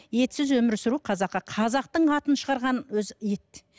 етсіз өмір сүру қазаққа қазақтың атын шығарған өзі ет